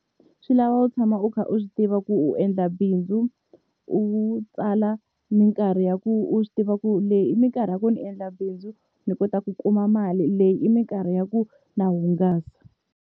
Swi lava u tshama u kha u swi tiva ku u endla bindzu, u tsala minkarhi ya ku u swi tiva ku leyi i minkarhi ya ku ni endla bindzu ni kota ku kuma mali leyi i minkarhi ya ku na hungasa.